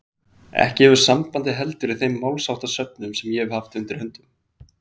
Ekki hefur sambandið heldur í þeim málsháttasöfnum sem ég hef haft undir höndum.